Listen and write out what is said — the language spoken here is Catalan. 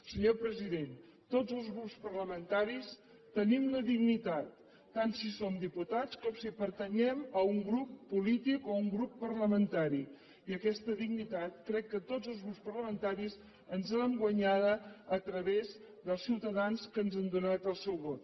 senyor president tots els grups parlamentaris tenim la dignitat tant si com diputats com si pertanyem a un grup polític o a un grup parlamentari i aquesta dignitat crec que tots els grups parlamentaris ens l’hem guanyada a través dels ciutadans que ens han donat el seu vot